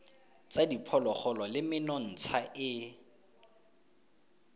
tsa diphologolo le menontsha e